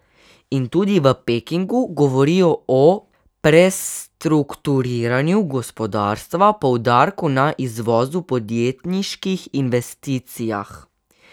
In tudi v Pekingu govorijo o prestrukturiranju gospodarstva, poudarku na izvozu, podjetniških investicijah.